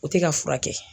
O tɛ ka furakɛ